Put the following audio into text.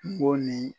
Kungo ni